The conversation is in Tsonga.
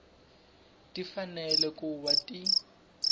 ti fanele ku va ti